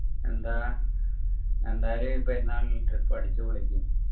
എന്താ എന്തായാലും ഈ പെരുന്നാളിൽ trip അടിച്ചുപൊളിക്ക്